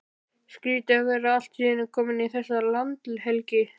Skrýtið að vera allt í einu kominn í þessa landhelgi!